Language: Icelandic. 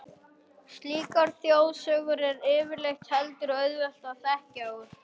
Slíkar þjóðsögur er yfirleitt heldur auðvelt að þekkja úr.